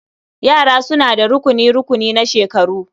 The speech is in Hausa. Yara suna da rukuni-rukuni na shekaru.